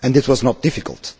it was not difficult.